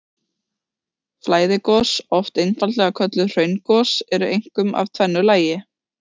Flæðigos, oft einfaldlega kölluð hraungos, eru einkum af tvennu tagi.